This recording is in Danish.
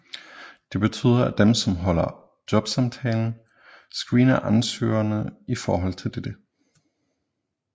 Det betyder at dem som afholder jobsamtalen screener ansøgerne i forhold til dette